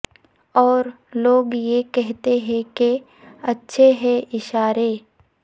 اور لوگ یہ کہتے ہیں کہ اچھے ہیں اشارے